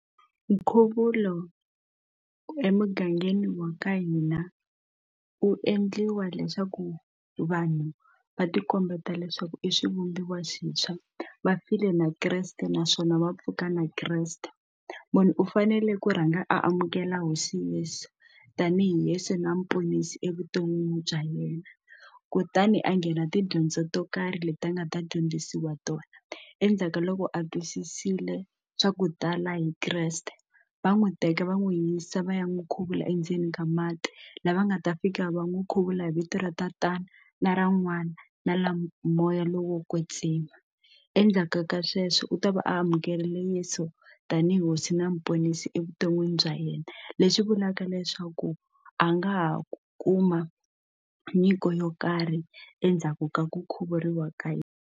Nkhuvulo emugangeni wa ka hina u endliwa leswaku vanhu va ti kombeta leswaku i swivumbiwa swintshwa va file na kreste naswona va pfuka na kreste munhu u fanele ku rhanga amukela hosi yeso tanihi hosi na muponisi evuton'wini bya yena kutani a nghena tidyondzo to karhi leti nga ta dyondzisiwa tona endzhaku ka loko a twisisile swa ku tala hi kreste va n'wi teka va n'wi yisa va ya n'wi khuvula endzeni ka mati lava nga ta fika va n'wi khuvula hi vito ra tatana na ra n'wana na la moya lowo kwetsiwa endzhaku ka sweswo u ta va amukerile a yeso tanihi hosi na muponisi evuton'wini bya yena leswi vulaka leswaku a nga ha ku kuma nyiko yo karhi endzhaku ka ku khuvuriwa ka hina.